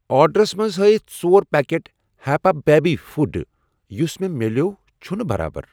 آرڈرَس منٛز ہٲیِتھ ژور پاکٮ۪ٹ ہیپا بیبی فُڈ ، یُس مےٚ مِلٮ۪و چھنہٕ برابر۔